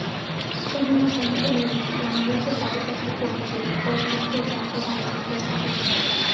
Chenrono konyo e miyo ji ong'e weche mag pesa kuom chiwo kony ne jogo ma ok nigi pesa e bengi.